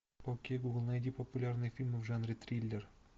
окей гугл найди популярные фильмы в жанре триллер